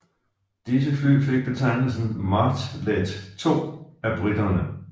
Disse fly fik betegnelsen Martlet II af briterne